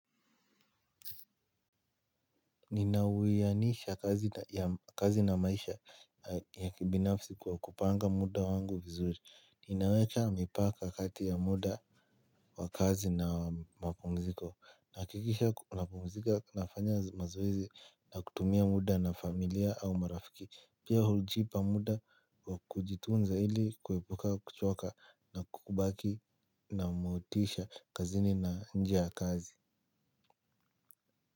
Ninawianisha kazi na maisha ya kibinafsi kwa kupanga muda wangu vizuri. Ninaweka mipaka kati ya muda wa kazi na mapumziko. Nahakikisha napumzika nafanya mazoezi na kutumia muda na familia au marafiki. Pia hujipa muda kujitunza ili kuepuka kuchoka na kukubaki na motisha kazini na nje ya kazi.